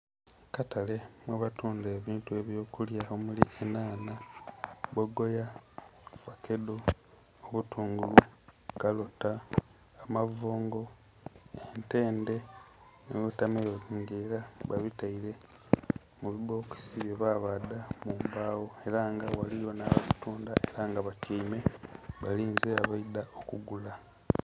Akatale mwebatunda ebintu by'okulya omuli enhanha, bbogoya, fakedo, obutungulu, kalota, amavongo, entende nhi wotameloni nga ela babitaile mu bibbokisi bye babaadha mu mbagho ela nga ghaligho nh'ababitunda ela nga batyaime balinze abaidha okugula.